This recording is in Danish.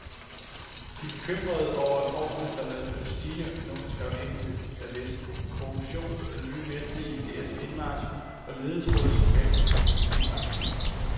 De er bekymrede over reformerne, der medfører stigende økonomisk afhængighed af vesten, korruption, nye vestlige idéers indmarch og ledetråde som vækst og profitmaksimering.